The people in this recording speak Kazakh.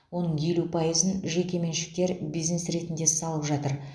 оның елу пайызын жеке меншіктер бизнес ретінде салып жатыр